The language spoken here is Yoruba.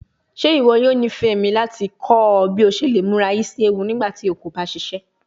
Ṣe iwọ yoo nifẹ mi lati kọ ọ bi o ṣe le mura isi ewu nigbati o ko ba ṣiṣẹ?